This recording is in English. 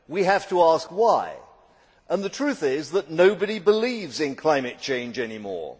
We have to ask why, and the truth is that nobody believes in climate change any more.